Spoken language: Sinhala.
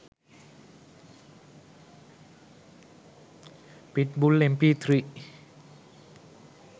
pit bull mp3